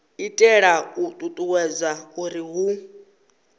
itela u ṱuṱuwedza uri hu